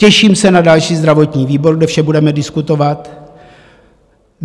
Těším se na další zdravotní výbor, kde vše budeme diskutovat.